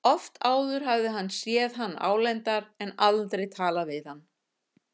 Oft áður hafði hann séð hann álengdar en aldrei talað við hann.